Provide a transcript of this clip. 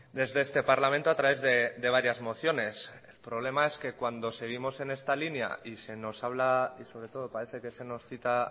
desde este parlamento a través de varias mociones el problema es que cuando seguimos en esta línea y se nos habla y sobre todo parece que se nos cita